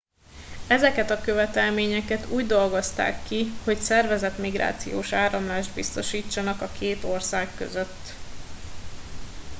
ezeket a követelményeket úgy dolgozták ki hogy szervezett migrációs áramlást biztosítsanak a két ország között